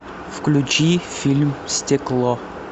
включи фильм стекло